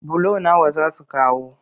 Bulo nawa za su kawo?